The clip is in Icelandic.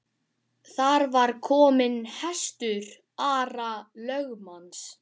Þar var kominn hestur Ara lögmanns.